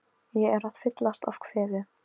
Ég er að fyllast af kvefi.